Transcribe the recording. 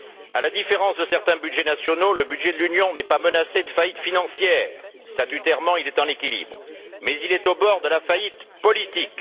À la différence de certains budgets nationaux, le budget de l'Union n'est pas menacé de faillite financière, statutairement, il est en équilibre, mais il est au bord de la faillite politique.